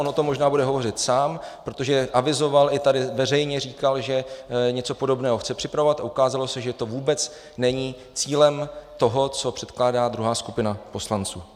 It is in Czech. On o tom možná bude hovořit sám, protože avizoval i tady veřejně říkal, že něco podobného chce připravovat, a ukázalo se, že to vůbec není cílem toho, co předkládá druhá skupina poslanců.